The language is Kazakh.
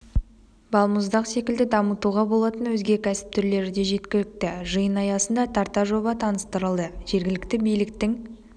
балмұздақ секілді дамытуға болатын өзге кәсіп түрлеріде жеткілікті жиын аясында тарта жоба таныстырылды жергілікті биліктің